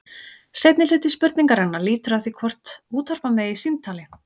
Seinni hluti spurningarinnar lýtur að því hvort útvarpa megi símtali.